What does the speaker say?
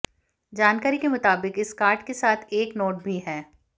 जानकारी के मुताबिक इस कार्ड के साथ एक नोट भी है